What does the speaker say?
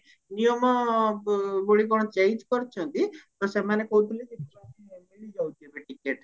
ନିୟମ ବଳି କଣ change କରିଛନ୍ତି ତ ସେମାନେ କହୁଥିଲେ କି ଟିକେଟ